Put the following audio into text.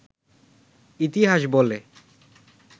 ইতিহাস বলে